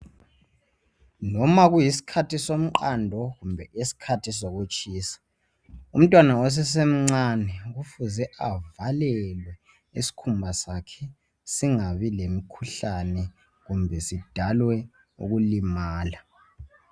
Noma kuyisikhathi somqamndo kumbe isikhathi sokutshisa umntwana osesemcane kufuze avalelwe isikhumba sakhe singabi lomkhuhlane kumbe sidalwe ukulimala.